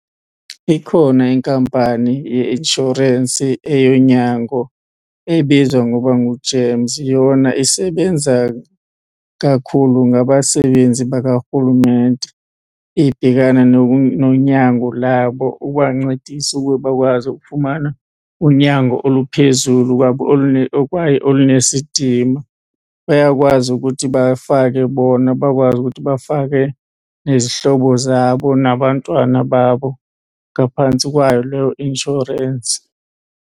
Ikhona inkampani yeinshorensi eyonyango ebizwa ngoba nguGEMS. Yona isebenza kakhulu ngabasebenzi bakarhulumente, ibhekana nonyango labo ukubancedisa ukuba bakwazi ukufumana unyango oluphezulu kwabo kwaye olunesidima. Bayakwazi ukuthi bafake bona bakwazi ukuthi bafake nezihlobo zabo nabantwana babo ngaphantsi kwayo leyo inshorensi.